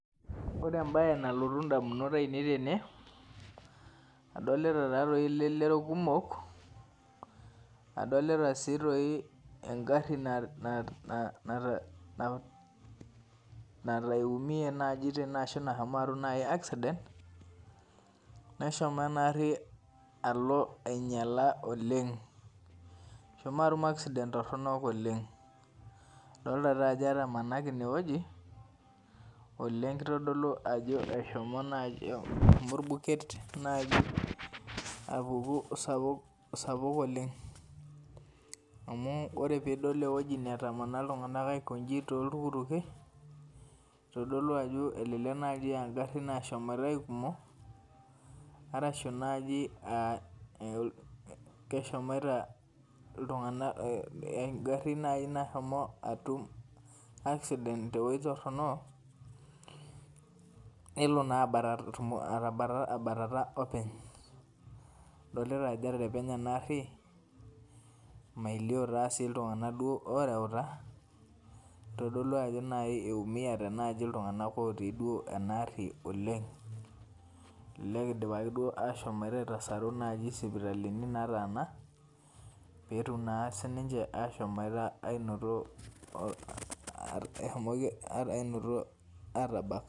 Ore enbae nalotu ndamunot ainei tene adolita elelero kumok adolta engari nalo aimie ashubnashomo atum nai accident alo ainyala oleng eshomo atum accident toronok oleng adolta ajo etamanaki inewueji oleng elio ajo eshomo orbuket apuku sapuk oleng amu ore pidol ewueji natamana toltuktuki ebaki na ngarin nashomo aikumo arashu naji keshomoito engari nashomo atum accident tewueji toronok nelo na abatata openy idolta ajo eterepenye enaari melio si ltunganak oreuta kitodolu ajo iumiate nai ltunganak otii duo enaari oleng elelej idipaki aitasaru sipitalini nataana petum sinche ashomoita ainoto atabak.